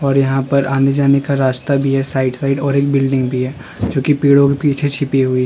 और यहां पर आने जाने का रास्ता भी है साइड साइड और एक बिल्डिंग भी है जो कि पेड़ों के पीछे छिपी हुई --